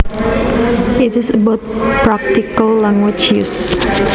It is about practical language use